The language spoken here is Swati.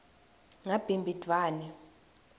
ngabhimbidvwane